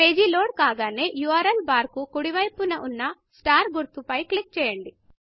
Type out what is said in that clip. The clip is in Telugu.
పేజీ లోడ్ కాగానే ఉర్ల్ బార్ కు కుడి వైపున ఉన్న Starస్టార్గుర్తు పై క్లిక్ చేయండి